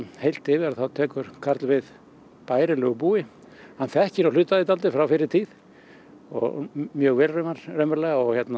heilt yfir þá tekur Karl við bærilegu búi hann þekkir nú hluta af því frá fyrri tíð og mjög vel raunverulega